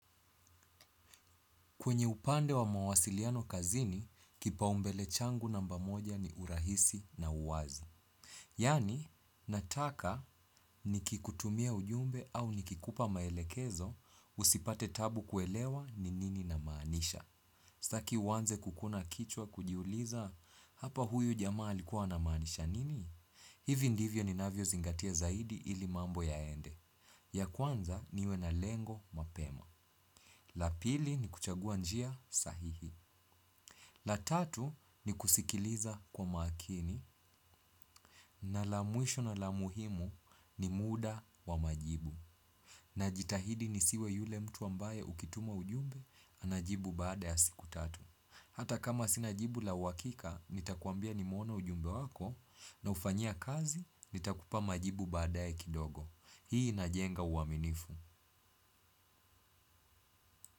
Kwenye upande wa mawasiliano kazini, kipaumbele changu namba moja ni urahisi na uwazi. Yaani, nataka nikikutumia ujumbe au nikikupa maelekezo usipate taabu kuelewa ni nini namaanisha. Staki uanze kukuna kichwa kujiuliza, hapa huyu jamaa alikuwa anamaanisha nini? Hivi ndivyo ninavyozingatia zaidi ili mambo yaende ya kwanza niwe na lengo mapema. La pili ni kuchagua njia sahihi. La tatu ni kusikiliza kwa makini na la mwisho na la muhimu ni muda wa majibu. Najitahidi nisiwe yule mtu ambaye ukitumwa ujumbe unajibu baada ya siku tatu. Hata kama sina jibu la uhakika nitakuambia nimeuona ujumbe wako naufanyia kazi nitakupa majibu baada ya kidogo. Hii inajenga uaminifu.